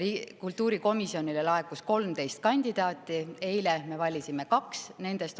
Kultuurikomisjonile laekus 13 kandidaati, eile me valisime kaks nendest.